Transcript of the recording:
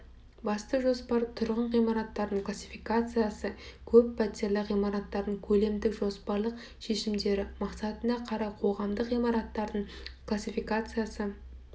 басты жоспар тұрғын ғимараттардың классификациясы көп пәтерлі ғимараттардың көлемдік жоспарлық шешімдері мақсатына қарай қоғамдық ғимараттардың классификациясы